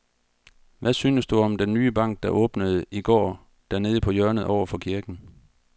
Hvad synes du om den nye bank, der åbnede i går dernede på hjørnet over for kirken?